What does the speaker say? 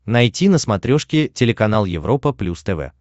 найти на смотрешке телеканал европа плюс тв